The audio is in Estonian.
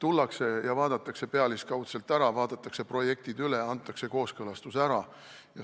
Tullakse ja vaadatakse pealiskaudselt ära, vaadatakse projektid üle, antakse kooskõlastus ära.